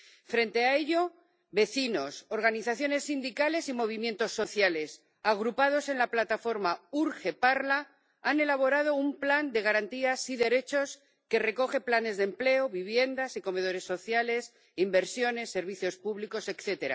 Frente a ello, vecinos, organizaciones sindicales y movimientos sociales agrupados en la plataforma Urge Parla han elaborado un plan de garantías y derechos que recoge planes de empleo, viviendas y comedores sociales, inversiones, servicios públicos, etc.